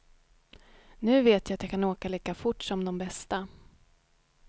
Nu vet jag att jag kan åka lika fort som de bästa.